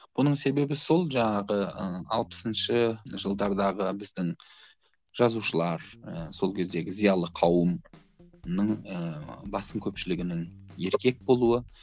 бұның себебі сол жаңағы ы алпысыншы жылдардағы біздің жазушылар ы сол кездегі зиялы қауымның ыыы басым көпшілігінің еркек болуы